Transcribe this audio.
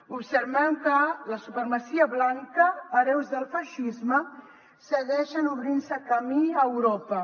observem que la supremacia blanca hereus del feixisme segueixen obrint se camí a europa